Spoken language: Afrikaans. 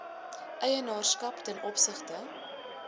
eienaarskap ten opsigte